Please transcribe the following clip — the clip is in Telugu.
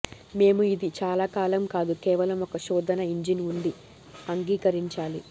మేము ఇది చాలా కాలం కాదు కేవలం ఒక శోధన ఇంజిన్ ఉంది అంగీకరించాలి